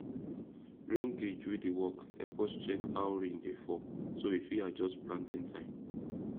rain gauge wey dey work help us check how rain dey fall so we fit adjust planting time